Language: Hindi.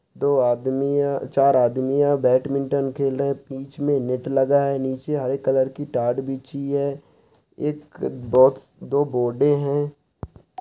दो आदमी है चार आदमी है बैडमिंटन खेल रहे हैं| बीच में नेट लगा है नीचे हरे कलर की टाट बीछी है एक बॉक्स दो बोर्डे हैं।